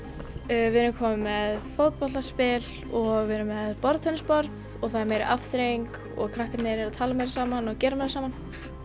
við erum komin með fótboltaspil og við erum með borðtennisborð og það er meiri afþreying og krakkarnir eru að tala meira saman og gera meira saman